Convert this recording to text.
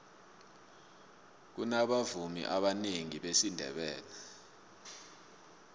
kunabavumi abanengi besindebele